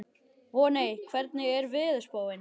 Voney, hvernig er veðurspáin?